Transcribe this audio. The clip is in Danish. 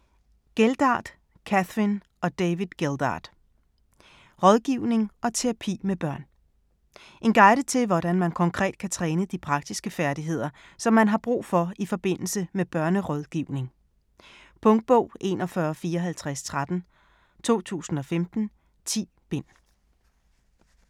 Geldard, Kathryn og David Geldard: Rådgivning og terapi med børn En guide til, hvordan man konkret kan træne de praktiske færdigheder, som man har brug for i forbindelse med børnerådgivning. Punktbog 415413 2015. 10 bind.